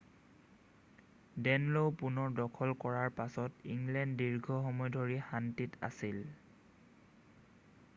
ডে'নলও পুনৰ দখল কৰাৰ পাছত ইংলেণ্ড দীৰ্ঘ সময় ধৰি শান্তিত আছিল